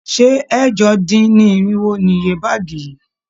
Ṣé ẹ̀jọ-dín-irinwo ni iye báàgì yìí?